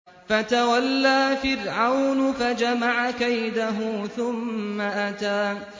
فَتَوَلَّىٰ فِرْعَوْنُ فَجَمَعَ كَيْدَهُ ثُمَّ أَتَىٰ